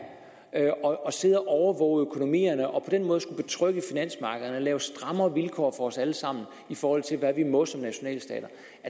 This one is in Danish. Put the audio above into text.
og sidde og overvåge økonomierne og på den måde betrygge finansmarkederne og lave strammere vilkår for os alle sammen i forhold til hvad vi må som nationalstater